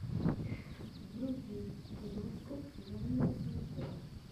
вруби киношку жанр концерт